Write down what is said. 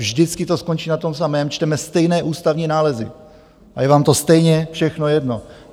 Vždycky to skončí na tom samém: čteme stejné ústavní nálezy, a je vám to stejně všechno jedno.